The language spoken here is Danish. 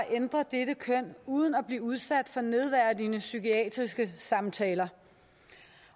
ændre dette køn uden at blive udsat for nedværdigende psykiatriske samtaler